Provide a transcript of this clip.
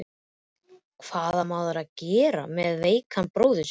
Hvað á maður að gera með veikan bróður sinn?